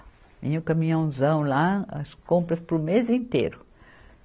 Vinha o caminhãozão lá, as compras para o mês inteiro.